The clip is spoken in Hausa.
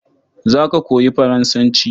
Za ka koyi Faransanci?